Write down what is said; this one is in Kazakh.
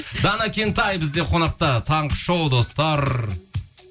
дана кентай бізде қонақта таңғы шоу достар